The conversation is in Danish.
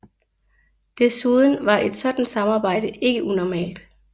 Desuden var et sådant samarbejde ikke unormalt